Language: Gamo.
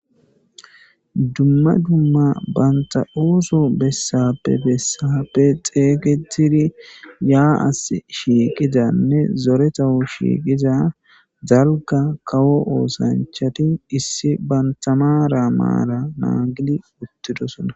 dumma dumma banta7ooso bessappe bessappe xeeygetiri yaa7as shiiqidanne zoretahu shiiqiza zalga kawo oosanchati issi bantamara maara naagili uttidosona